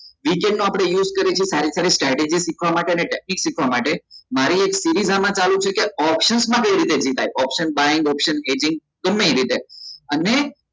V chat નો આપડે use કરીએ છીએ સારી સારી strategy સીખવા માટે ને technic સીખવા માટે મારી એક rises આમાં ચાલુ છે કે option કઈ રીતે થાય option buying option ગમે એ રીતે